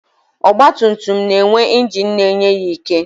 Ọgbatumtum na-enwe ingin na-enye ya ike.